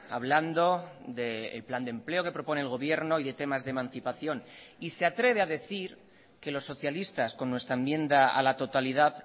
hablando del plan de empleo que propone el gobierno y de temas de emancipación y se atreve a decir que los socialistas con nuestra enmienda a la totalidad